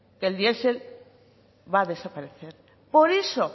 que el diesel va a desaparecer por eso